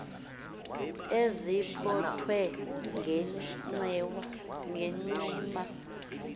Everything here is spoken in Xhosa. ezipho thwe ngencema